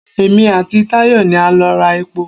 Èmi àti Tàyọ̀ ni a lọ ra epo.